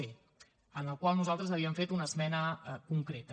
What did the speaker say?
d en el qual nosaltres havíem fet una esmena concreta